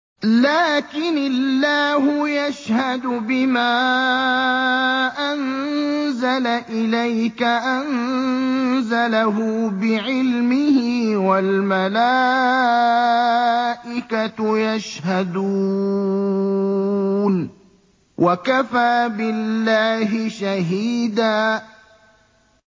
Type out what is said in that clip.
لَّٰكِنِ اللَّهُ يَشْهَدُ بِمَا أَنزَلَ إِلَيْكَ ۖ أَنزَلَهُ بِعِلْمِهِ ۖ وَالْمَلَائِكَةُ يَشْهَدُونَ ۚ وَكَفَىٰ بِاللَّهِ شَهِيدًا